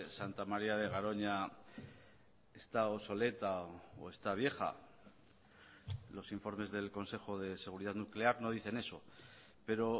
santa maría de garoña está obsoleta o está vieja los informes del consejo de seguridad nuclear no dicen eso pero